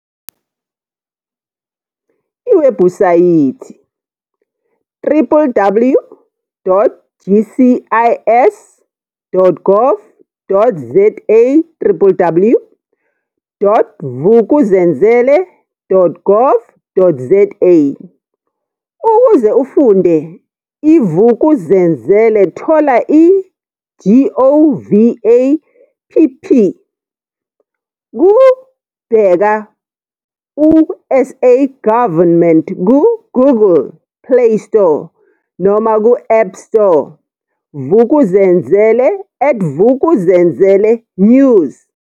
Iwebhusayithi- www.gcis.gov.zawww.vukuzenzele.gov.za Ukuze ufunde iVuk'uzenzele thola i-GOVAPP ku-Bheka uSA Government ku-Google playstore noma ku-appstore Vuk'uzenzele@VukuzenzeleNews